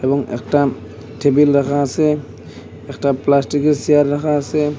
এবং একটা টেবিল রাখা আসে একটা প্লাস্টিকের সেয়ার রাখা আসে।